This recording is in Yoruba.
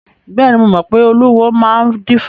Bẹ́ẹ̀ni, mo mọ pé olúwo ló máa ń dífá.